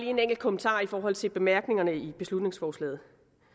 en enkelt kommentar i forhold til bemærkningerne i beslutningsforslaget